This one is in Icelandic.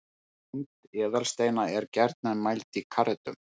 Þyngd eðalsteina er gjarnan mæld í karötum.